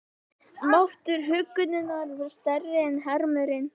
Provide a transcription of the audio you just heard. Máttur huggunarinnar varð sterkari en harmurinn.